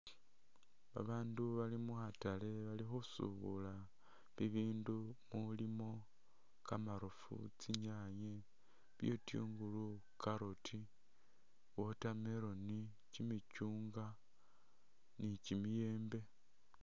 Ba bandu bali mu khatale bali khusubula bi bindu mulimo kamarofu, tsinyanye, bitungulu, carrot, watermelon, kyi michungwa ni kyimiyembe.